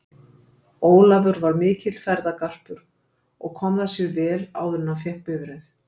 Ólafur var mikill ferðagarpur og kom það sér vel áður en hann fékk bifreið.